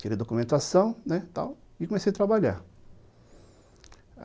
Tirei a documentação, tal, e comecei a trabalhar.